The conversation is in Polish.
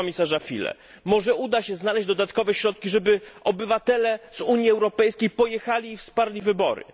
Panie komisarzu Füle, może uda się znaleźć dodatkowe środki, żeby obywatele z Unii Europejskiej pojechali i wsparli wybory.